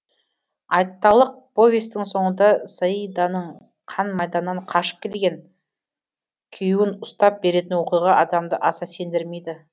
айталық повестің соңында саиданың қан майданнан қашып келген күйеуін ұстап беретін оқиға адамды аса сендірмейді